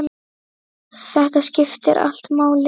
Þetta skiptir allt máli.